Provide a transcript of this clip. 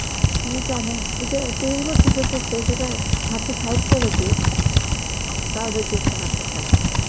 কি জানে, এই যে তিরিশ বছর যে করসে সেই জায়গায় thirty five করেক দিক, তাও যদি একটুও আশা থাকে.